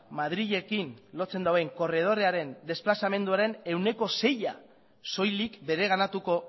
madrilekin lotzen duen korredorrearen desplazamenduaren ehuneko seia soilik bereganatuko